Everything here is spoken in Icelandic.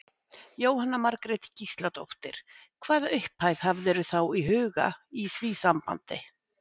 Jóhanna Margrét Gísladóttir: Hvaða upphæð hafðirðu þá í huga í því sambandi?